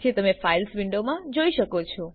જે તમે files window મા જોઈ શકશો